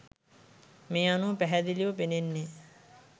මේ අනුව පැහැදිලිව පෙනෙන්නේ